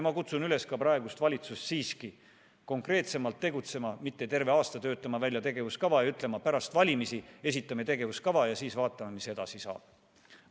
Ma kutsun üles praegust valitsust siiski konkreetsemalt tegutsema, mitte terve aasta töötama välja tegevuskava ja ütlema, et pärast valimisi esitame tegevuskava ja siis vaatame, mis edasi saab.